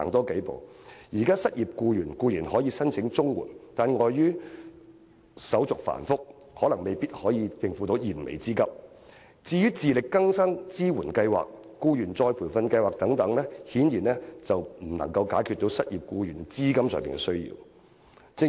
現時失業僱員固然可以申請綜援，但礙於申請手續繁複，綜援未必能應付他們的燃眉之急，至於自力更生支援計劃、僱員再培訓計劃等，顯然未能解決失業僱員經濟上的需要。